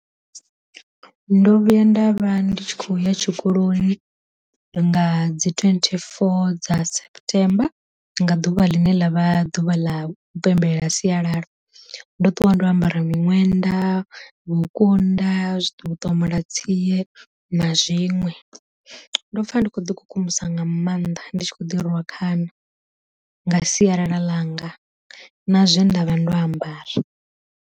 Ndo vhuya nda vha ndi tshi khou ya tshikoloni nga dzi twenty four septemba nga ḓuvha ḽine ḽa vha ḓuvha ḽa u pembelela sialala. Ndo ṱuwa ndo ambara miṅwenda, vhukunda zwi ḓo ṱomola tsie na zwiṅwe, ndo pfa ndi kho ḓi kukumusa nga maanḓa ndi tshi kho ḓi rwa khana nga sialala ḽanga na zwe nda vha ndo ambara.